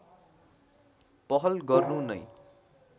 पहल गर्नु नै